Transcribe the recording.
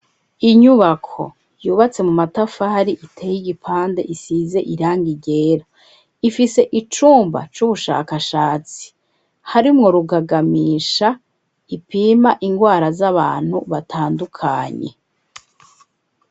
Inyubako yubatse mu matafari, iteye igipande, isize irangi ryera, ifise icumba c'ubushakashatsi harimwo rugagamisha ipima indwara z'abantu batandukanye.